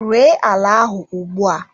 Ree ala ahụ ugbua!